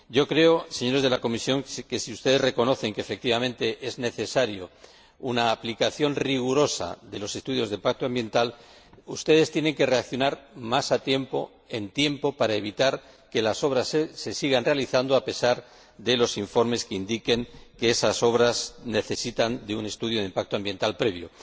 Yo creo, señores de la Comisión, que si ustedes reconocen que, efectivamente, es necesaria una aplicación rigurosa de los estudios de impacto ambiental, tienen que reaccionar más a tiempo, para evitar que las obras se sigan realizando a pesar de los informes que indiquen que esas obras necesitan de un estudio de impacto ambiental previo.